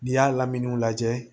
N'i y'a lamini lajɛ